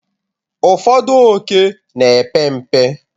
ụfọdụ ókè na-epe mpe